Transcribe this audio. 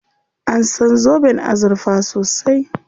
An san zoben azurfa sosai.